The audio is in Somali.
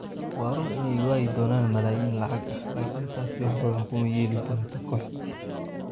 Waa run inay waayi doonaan malaayiin lacag ah laakiin taasi wax badan kuma yeeli doonto kooxda.